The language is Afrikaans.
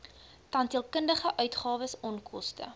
tandheelkundige uitgawes onkoste